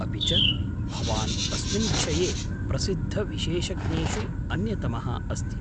अपि च, भवान् अस्मिन् विषये प्रसिद्धविशेषज्ञेषु अन्यतमः अस्ति।